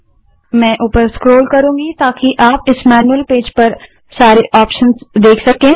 मैं ऊपर स्क्रोल करुँगी ताकि आप इस मैन्यूअल पेज पर सारे ऑप्शंस देख सकें